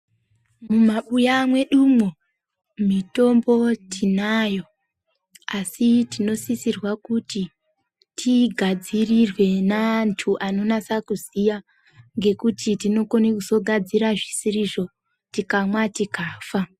Mumabuya mwedumwo mitombo tinayo asi tinosisirwa kuti tigadzirirwe neantu anonasa kuziya ngekuti tinokone kuzogadzire zvisizvo tikamwa tikafa.